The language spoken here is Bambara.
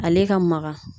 Ale ka magan